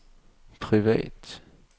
privat